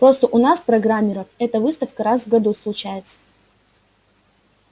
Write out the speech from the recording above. просто у нас программеров эта выставка раз в году случается